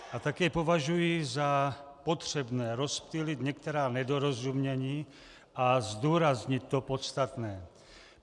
A taky považuji za potřebné rozptýlit některá nedorozumění a zdůraznit to podstatné.